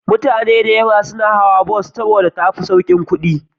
Mutane da yawa na hawa bus saboda tafi saukin kudi